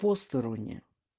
посторонняя